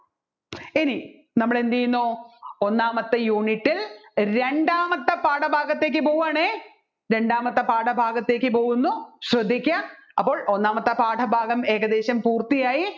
ഇനി നമ്മൾ എന്ത് ചെയ്യുന്നു ഒന്നാമത്തെ unit ൽ രണ്ടാമത്തെ പാഠഭാഗത്ത് പോവുകയാണെ രണ്ടാമത്തെ പാഠഭാഗത്തേക്ക് പോകുന്നു ശ്രദ്ധിക്കുക അപ്പോൾ ഒന്നാമത്തെ പാഠഭാഗം ഏകദേശം പൂർത്തിയായി